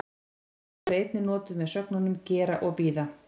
Afhroð er einnig notað með sögnunum gera og bíða.